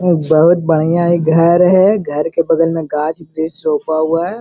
अ बहुत बढ़िया इ घर है घर के बगल में घास वृछ सोफा उआ है।